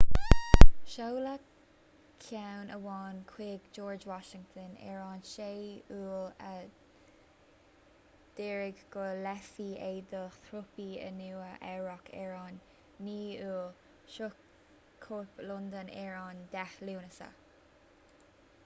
seoladh ceann amháin chuig george washington ar an 6 iúil a d'ordaigh go léifí é dá thrúpaí i nua eabhrac ar an 9 iúil shroich cóip londain ar an 10 lúnasa